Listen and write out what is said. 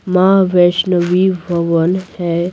माँ वैष्णवी भवन है।